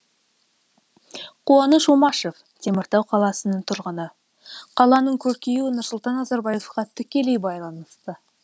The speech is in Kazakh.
қуаныш омашев теміртау қаласының тұрғыны қаланың көркеюі нұрсұлтан назарбаевқа тікелей байланысты